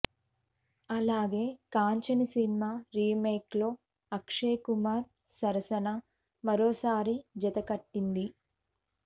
అలాగే కాంచన సినిమా రీమేక్లో అక్షయ్ కుమార్ సరసన మరోసారి జతకట్టింది